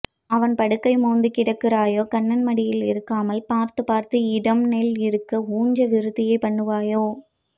அவன் படுக்கை மோந்து கிடக்கிறாயே கண்ணன் மடியல் இருக்காமல் பார்த்த பார்த்த இடம் நெல் இருக்க உஞ்ச விருத்தி பண்ணுவையோ